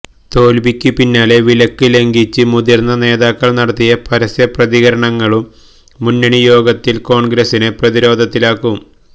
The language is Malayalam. തോൽവിക്ക് പിന്നാലെ വിലക്ക് ലംഘിച്ച് മുതിർന്ന നേതാക്കൾ നടത്തിയ പരസ്യ പ്രതികരണങ്ങളും മുന്നണി യോഗത്തിൽ കോൺഗ്രസിനെ പ്രതിരോധത്തിലാക്കും